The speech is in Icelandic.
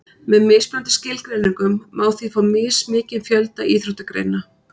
með mismunandi skilgreiningum má því fá mismikinn fjölda íþróttagreina